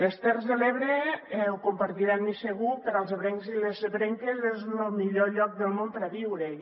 les terres de l’ebre ho deurà compartir amb mi segur per als ebrencs i les ebrenques és lo millor lloc del món per a viure·hi